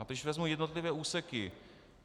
A když vezmu jednotlivé úseky.